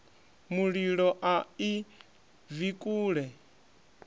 mulilo a i bvi kule